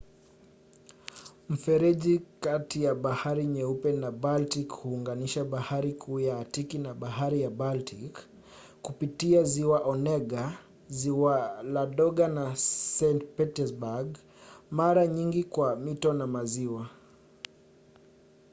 mfereji kati ya bahari nyeupe na baltic huunganisha bahari kuu ya atiki na bahari ya baltic kupitia ziwa onega ziwa ladoga na saint petersburg mara nyingi kwa mito na maziwa